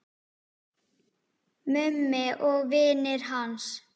Mummi og vinir hans.